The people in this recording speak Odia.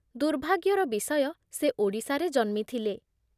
ଦୁର୍ଭାଗ୍ୟର ବିଷୟ ସେ ଓଡ଼ିଶାରେ ଜନ୍ମିଥିଲେ